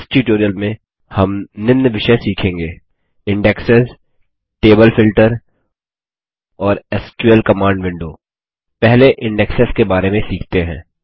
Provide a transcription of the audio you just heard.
इस ट्यूटोरियल में हम निम्न विषय सीखेंगे इंडेक्सेस टेबल फ़िल्टर और एसक्यूएल कमांड विंडो पहले इंडेक्सेस के बारे में सीखते हैं